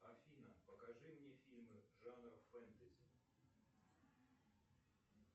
афина покажи мне фильмы жанра фэнтази